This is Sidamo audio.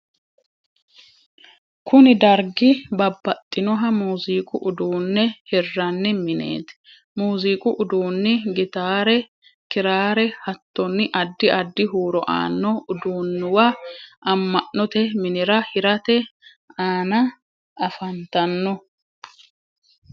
kuni dargi babbaxinoha muziqu udduunne hiranni minet. muziqu udduunni gitare, kirare, hattonni addi addi huuro aanno udduunnuwa amma'note minira hirate aana afantanno.